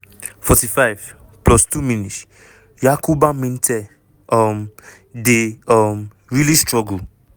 .45+2 mins- yankuba minteh um dey um really struggle.